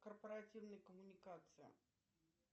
корпоративные коммуникации